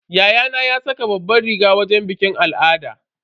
Yayana ya saka babbar riga a wajen bikin al'adun.